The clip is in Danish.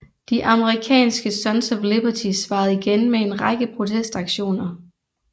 De amerikanske Sons of Liberty svarede igen med en række protestaktioner